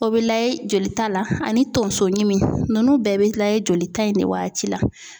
O bɛ layɛ jolita la ani tonso ɲimi ninnu bɛɛ bɛ layɛ joli ta in de waati la.